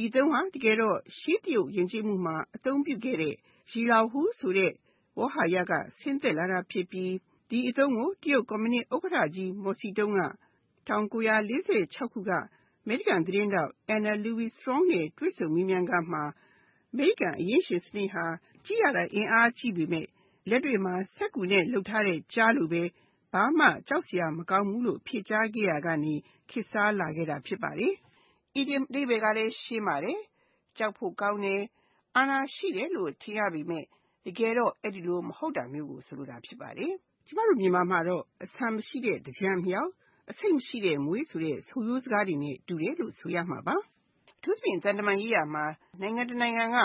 ီအသုံးဟာ တကယ်တော့ ရှေး တရုတ်ယဉ်ကျေးမှုမှာ အသုံးပြုခဲ့တဲ့ စက္ကူကျား လို့ အဓိပ္ပါယ်ရတဲ့ Zhilaohu ဆိုတဲ့ဝေါဟာရက ဆင်းသက်လာတာဖြစ်ပြီး ဒီအသုံးကို တရုတ် ကွန်မြူနစ် ဥက္ကဋ္ဌကြီး မော်စီတုံးက ၁၉၄၆ ခုနှစ်က အမေရိကန် သတင်းထောက် Anna Louise Strong နဲ့ တွေ့ဆုံမေးမြန်းခန်းမှာ အမေရိကန် အရင်းရှင်စနစ်ဟာ ကြည့်ရတာ အင်အားကြီးပေမယ့် လက်တွေ့မှာ စက္ကူနဲ့ လုပ်ထားတဲ့ ကျားလိုပဲ ဘာမှ ကြောက်စရာ မကောင်းဘူးလို့ ဖြေကြားခဲ့ရာကနေ ခေတ်စားလာခဲ့တာ ဖြစ်ပါတယ်။ အီဒီယံ အဓိပ္ပါယ်ကလည်း ရှင်းပါတယ်။ ကြောက်ဖို့ကောင်းတယ်၊ အာဏာရှိတယ်လို့ ထင်ရပေမယ့် တကယ်တော့ အဲဒီလို မဟုတ်တာမျိုးကို ဆိုလိုတာ ဖြစ်ပါတယ်။ ကျမတို့ မြန်မာမှာတော့ အဆံမရှိတဲ့ သင်္ကြန်အမြောက်၊ အဆိပ်မရှိတဲ့ မြွေ အစရှိတဲ့ ဆိုရိုးစကားတွေနဲ့ ဆင်တူတယ်လို့ ဆိုရမှာပါ။ အထူးသဖြင့် သံတမန်ရေးရာမှာ နိုင်ငံတနိုင်ငံက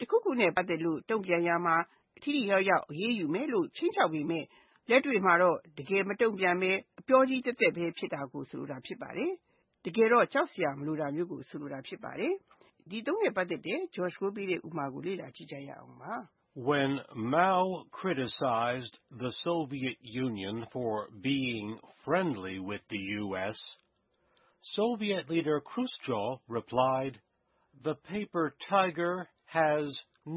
တခုခုနဲ့ ပတ်သက်လို့ တုံ့ပြန်ရာမှာ ထိထိရောက်ရောက် အရေးယူမယ်လို့ ခြိမ်းခြောက်ပေမယ့် လက်တွေ့မှာတော့ တကယ်မတုံ့ပြန်ဘဲ အပြောကြီးသက်သက် ဖြစ်တာကို ဆိုလိုတာဖြစ်ပါတယ်။ တကယ်ကြောက်ဖို့မလိုတာကိုဆိုလိုတာ ဖြစ်ပါတယ်။ ဒီအသုံးနှင့်ပတ်သက်တဲ့ဥပမာကို လေ့လာကြည့်ရအောင်ပါ။ Once when Chairman Mao criticized the Soviet Union for being friendly with the US, Soviet leader Khrushchev reportedly replied, "the paper tiger has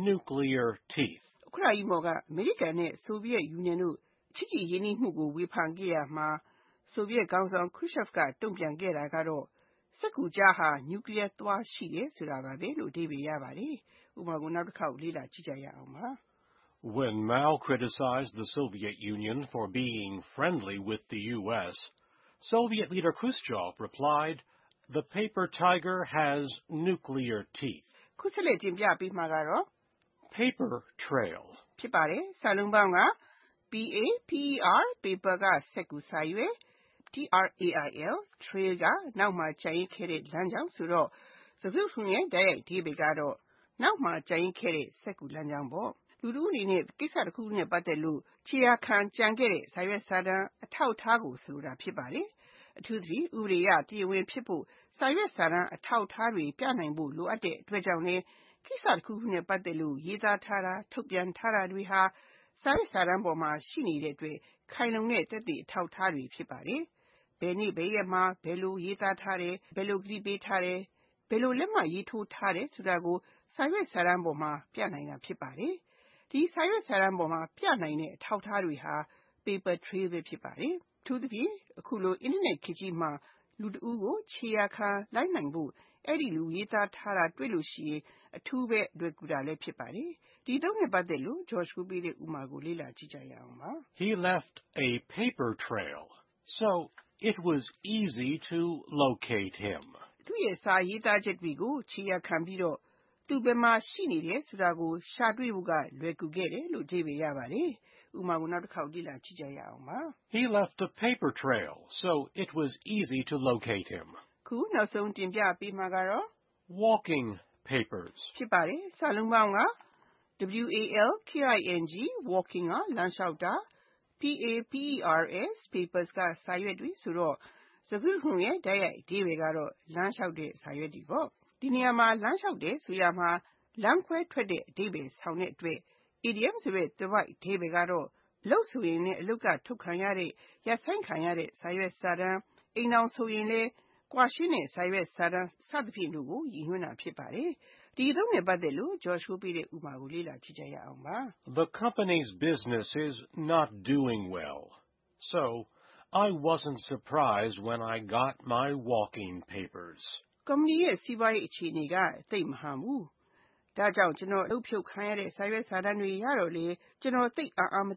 nuclear teeth”. တချိန်က ဥက္ကဋ္ဌကြီး မော် က အမေရိကန် နဲ့ ဆိုဗီယက်ယူနီယံတို့ ဆက်ဆံရေးနွေးထွေူးမှုကို ဝေဖန်ခဲ့ရာမှာ ဆိုဗီယက်ခေါင်းဆောင် Khrushchev က ပြန်ဖြေခဲ့တယ်ဆိုတဲ့စကားကကြောက်စရာ မကောင်းဘူးလို့ဆိုတဲ့ စက္ကူကျားမှာ နျူကလီးယား သွား ရှိတယ်ဆိုတာပါဘဲ။ (၂) Paper trial Paper (စက္ကူ၊ စာရွက်)၊ trail (နောက်မှာ ကျန်ရစ်ခဲ့တဲ့ လမ်းကြောင်း) ဆိုတော့ စကားစုတခုလုံးရဲ့ တိုက်ရိုက်အဓိပ္ပါယ်က နောက်မှာ ကျန်ရစ်ခဲ့တဲ့ စက္ကူလမ်းကြောင်း ဖြစ်ပါတယ်။ အီဒီယံ အဓိပ္ပါယ်က လူတဦးအနေနဲ့ ကိစ္စတခုခုနဲ့ ပတ်သက်လို့ ခြေရာခံလိုက်နိုင်ဖို့ကျန်ခဲ့တဲ့ စာရွက်စာတမ်း၊ အထောက်အထားကို ဆိုလိုတာ ဖြစ်ပါတယ်။ အထူးသဖြင့် ဥပဒေအရ တရားဝင်ဖြစ်ဖို့ စာရွက်စာတမ်း အထောက်အထားတွေ ပြနိုင်ဖို့ လိုအပ်တဲ့အတွက်ကြောင့်လည်း ကိစ္စတခုခုနဲ့ ပတ်သက်လို့ ရေးသားထားတာ၊ ထုတ်ပြန်ထားတာတွေဟာ စာရွက်စာတမ်းအပေါ်မှာ ရှိနေတဲ့အတွက် ခိုင်လုံတဲ့ သက်သေအထောက်အထားတွေ ဖြစ်ပါတယ်။ ဘယ်နေ့ဘယ်ရက်မှာ ဘယ်လို ရေးသားထားတယ်။ ဘယ်လို ကတိပေးထားတယ်။ ဘယ်လို လက်မှတ်ရေးထိုးတားတယ် ဆိုတာကို စာရွက်စာတမ်းပေါ်မှာ ပြနိုင်တာ ဖြစ်ပါတယ်။ ဒီ စာရွက်စာတမ်းပေါ်မှာ ပြနိုင်တဲ့ အထောက်အထားတွေဟာ Paper trial ဖြစ်ပါတယ်။ အထူးသဖြင့် အခုလို Internet ခေတ်ကြီးမှာ လူတဦးကို ခြေရာခံ လိုက်နိုင်ဖို့ အဲဒီလူ ရေးသားထားတာ တွေ့လို့ရှိရင် အထူးပဲ လွယ်ကူတာ ဖြစ်ပါတယ်။ ဒီအသုံးနှင့်ပတ်သက်တဲ့ဥပမာကို လေ့လာကြည့်ရအောင်ပါ။ He left a paper trail so it was easy to locate him. သူရဲ့ စာရေးသားချက်တွေကို ခြေရာခံပြီးတော့ သူ ဘယ်မှာ ရှိနေတယ်ဆိုတာကို ရှာတွေ့ဖို့က လွယ်ကူခဲ့တယ်။ (၃) Walking papers Walking (လမ်းလျှောက်တာ)၊ papers (စက္ကူ၊ စာရွက်တွေ) ဆိုတော့ စကားစုတခုလုံးရဲ့ တိုက်ရိုက်အဓိပ္ပါယ်က လမ်းလျှောက်နေတဲ့ စာရွက်တွေ ဖြစ်ပါတယ်။ ဒီနေရာမှာ လမ်းလျှောက်တယ်လို့ဆိုရာမှာ လမ်းခွဲထွက်တဲ့ အဓိပ္ပါယ် ဆောင်တဲ့အတွက် အီဒီယံသွယ်ဝိုက်အဓိပ္ပါယ်ကတော့ အလုပ်ဆိုလဲ အလုပ်က အထုတ်ခံရ၊ ရပ်ဆိုင်းခံရတဲ့စာတမ်း၊ အိမ်ထောင်ဆိုရင်လဲ ကွာရှင်းတဲ့ စာရွက်စာတမ်း စသဖြင့်တို့ကို ရည်ညွှန်းတာ ဖြစ်ပါတယ်။တနည်းတော့ထွက်သွားလို့ရည်ညွှန်းတဲ့စာရွက်စာတမ်းဘဲဖြစ်ပါတယ်။ ဒီအသုံးနဲ့ပတ်သက်တဲ့ ဥပမာကို လေ့လာကြည့်ရအောင်ပါ။ The company’s business wasn’t doing well. So I wasn’t surprised when I got my walking papers. ကုမ္ပဏီရဲ့ စီးပွားရေး အခြေအနေက သိပ်မဟန်ဘူး။ ဒါကြောင့် ကျနော် အလုပ်ဖြုတ်ခံရတဲ့ စာရွက်စာတမ်းတွေရတော့လဲ ကျနော် သိပ်အံ့အားမ